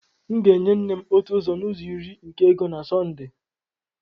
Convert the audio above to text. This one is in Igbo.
M ga-enye nne m otu ụzọ n'ụzọ iri nke ego na Sunday.